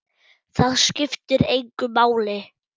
Það skiptir engu máli.